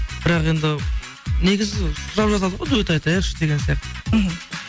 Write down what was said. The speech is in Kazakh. бірақ енді негізі сұрап жатады ғой дуэт айтайықшы деген сияқты мхм